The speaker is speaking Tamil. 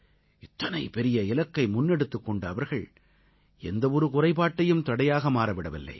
இத்தனை பெரிய இலக்கை முன்னெடுத்துக் கொண்ட அவர்கள் எந்த ஒரு குறைபாட்டையும் தடையாக மாற விடவில்லை